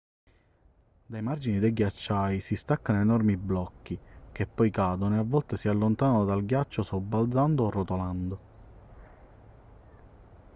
dai margini dei ghiacciai si staccano enormi blocchi che poi cadono e a volte si allontanano dal ghiacciaio sobbalzando o rotolando